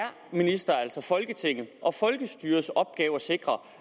ministerens og folketingets og folkestyrets opgave at sikre